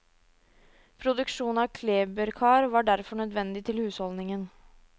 Produksjon av kleberkar var derfor nødvendig til husholdningen.